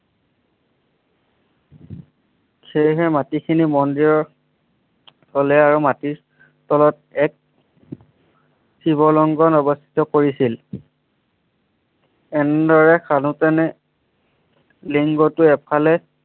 সেইহে মাটিখিনি মন্দিৰৰ থলে আৰু মাটিৰ তলত এক শিৱ লিংগ অৱস্থিত কৰিছিল। এনেদৰে খান্দোতেনে লিংগটো এফালে